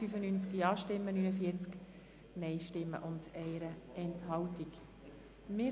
Siehaben die Ziffer 3 mit 95 Ja-, 49 Nein-Stimmen und 1 Enthaltung angenommen.